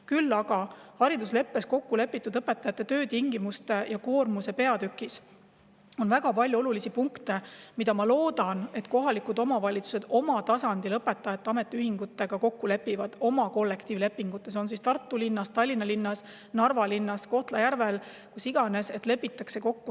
Küll aga on haridusleppes õpetajate töötingimuste ja koormuse peatükis väga palju olulisi punkte, milles, ma loodan, kohalikud omavalitsused oma tasandil kollektiivlepingute raames õpetajate ametiühingutega kokku lepivad – olgu see Tartu linnas, Tallinna linnas, Narva linnas, Kohtla-Järvel, kus iganes.